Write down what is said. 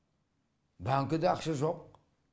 банкіде ақша жоқ